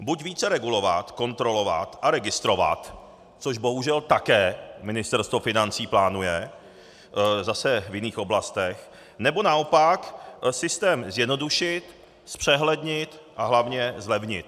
Buď více regulovat, kontrolovat a registrovat, což bohužel také Ministerstvo financí plánuje zase v jiných oblastech, nebo naopak systém zjednodušit, zpřehlednit a hlavně zlevnit.